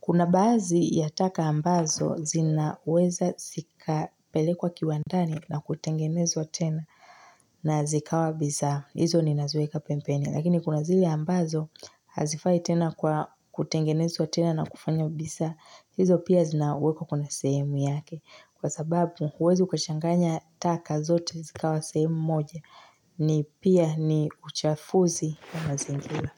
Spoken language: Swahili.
Kuna baadhi ya taka ambazo zinaweza zikapelekwa kiwandani na kutengenezwa tena na zikawa bisaa. Hizo ninaziweka pembeni. Lakini kuna zile ambazo hazifai tena kwa kutengenezwa tena na kufanya bisaa. Hizo pia zinawekwa kuna sehemu yake. Kwa sababu, huwezi ukachanganya taka zote zikawa sehemu moja. Ni pia ni uchafuzi wa mazingira.